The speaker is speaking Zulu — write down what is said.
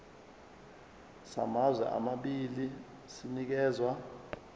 samazwe amabili sinikezwa